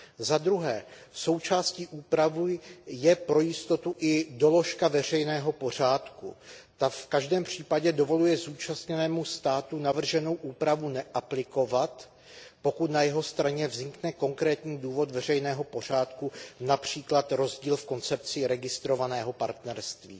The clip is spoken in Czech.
Zadruhé součástí úpravy je pro jistotu i doložka veřejného pořádku. Ta v každém případě dovoluje zúčastněnému státu navrženou úpravu neaplikovat, pokud na jeho straně vznikne konkrétní důvod veřejného pořádku, například rozdíl v koncepci registrovaného partnerství.